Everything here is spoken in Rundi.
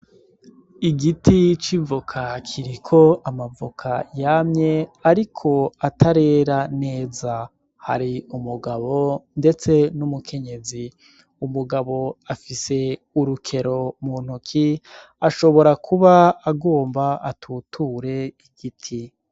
Igiti c'ivoka kiriko amavoka yamye, ariko atarera neza hari umugabo, ndetse n'umukenyezi umugabo afise urukero mu ntuki ashobora kuba agomba atuture igiti.